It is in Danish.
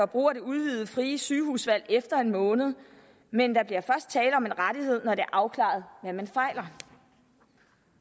brug af det udvidede frie sygehusvalg efter en måned men der bliver først tale om en rettighed når er afklaret hvad man fejler